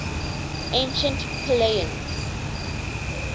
ancient pellaeans